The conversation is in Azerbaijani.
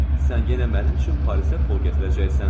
Sən yenə mənim üçün Parisə pul gətirəcəksən.